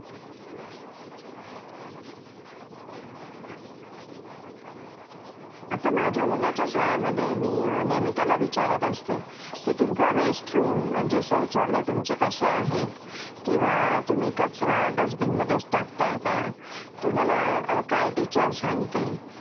आता माझ्या मुलाच्या शाळेमध्ये मी नेहमी त्याला विचारत असते की तुमचे शौचालय कसे आहेत किंवा तुम्ही कचरा डस्टबिनमध्येच टाकता का तुम्हाला काय टीचर सांगते